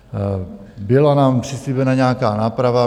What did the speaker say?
Byla nám přislíbena nějaká náprava.